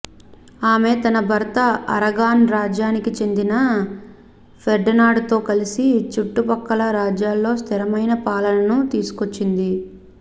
ఆమె తన భర్త అరగాన్ రాజ్యానికి చెందిన ఫెర్డినాండ్ తో కలసి చుట్టుపక్కల రాజ్యాల్లో స్థిరమైన పాలనను తీసుకొచ్చింది